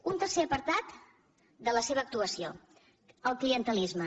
un tercer apartat de la seva actuació el clientelisme